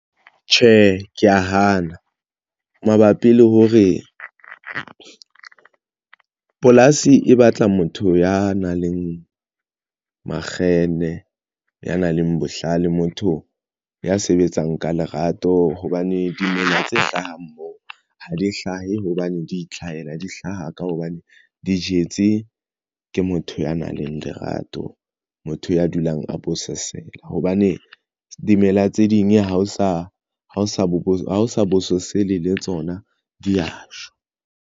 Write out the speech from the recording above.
Tjhe, ke ya hana mabapi le hore polasi e batla motho ya nang le makgenne ya nang le bohlale, motho ya sebetsang ka lerato hobane dimela tse hlahang moo ha di hlahe hobane di itlhahela di hlaha ka hobane di jetse ke motho ya nang le lerato. Motho ya dulang a bososela hobane dimela tse ding ha o sa hao sa bo sa bososela le tsona di ya shwa.